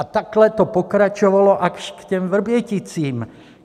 A takhle to pokračovalo až k těm Vrběticím.